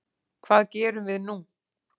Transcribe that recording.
Hvað gerum við nú